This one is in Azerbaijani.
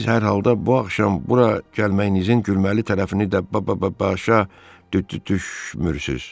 Siz hər halda bu axşam bura gəlməyinizin gülməli tərəfini də b-b-b-başa d-d-düşmürsüz.